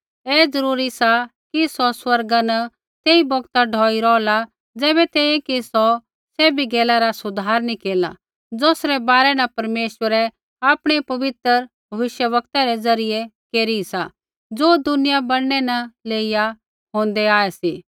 ऐ ज़रूरी सा कि सौ स्वर्गा न तेई बौगता ढौई रौहला ज़ैबै तैंईंयैं कि सौ सैभी गैला रा सुधार नी केरला ज़ौसरै बारै न परमेश्वरै आपणै पवित्र भविष्यवक्तै रै ज़रियै केरी सा ज़ो दुनिया बैणनै न लेइया होंदै आऐ सी